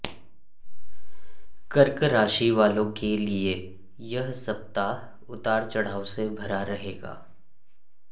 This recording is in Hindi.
कर्क राशि वालों के लिए यह सप्ताह उतार चढ़ाव से भरा रहेगा